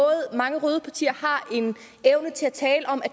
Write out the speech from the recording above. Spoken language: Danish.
mange røde partier har en evne til at tale om at